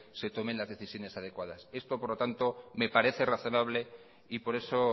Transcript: se tomen la decisiones adecuadas esto por lo tanto me parece razonable y por eso